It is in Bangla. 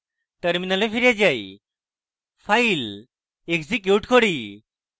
terminal file যাই file execute করি